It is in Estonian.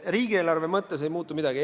Riigieelarve mõttes ei muutu midagi.